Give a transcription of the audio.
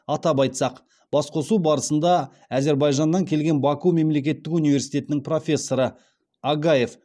атап айтсақ басқосу барысында әзербайжаннан келген баку мемлекеттік университетінің профессоры агаев